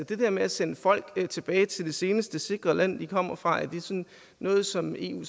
det der med at sende folk tilbage til det seneste sikre land de kommer fra er noget som eu